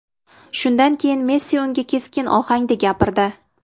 Shundan keyin Messi unga keskin ohangda gapirdi.